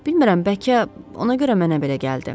Bilmirəm, bəlkə ona görə mənə belə gəldi.